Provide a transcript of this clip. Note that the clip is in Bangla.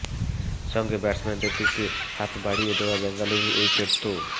সঙ্গে ব্যাটসম্যানদের দিকে হাত বাড়িয়ে দেওয়া বেঙ্গালুরুর উইকেট তো